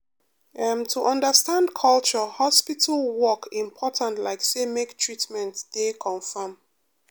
em to understand culture hospital work important like say make treatment dey confam.